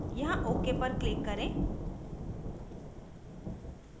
यहाँ ok पर click करें